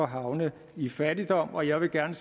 havne i fattigdom og jeg vil gerne